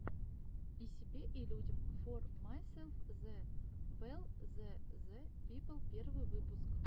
и себе и людям фор майселф эз вэлл эз зэ пипл первый выпуск